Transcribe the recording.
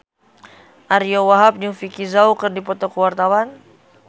Ariyo Wahab jeung Vicki Zao keur dipoto ku wartawan